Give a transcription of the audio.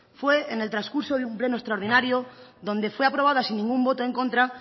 fue en el transcurso de un pleno extraordinario donde fue aprobada sin ningún voto en contra